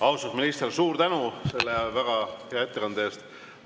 Austatud minister, suur tänu selle väga hea ettekande eest!